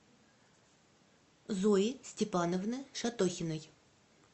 зои степановны шатохиной